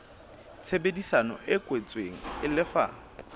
tshebedisano e kwetsweng e lefa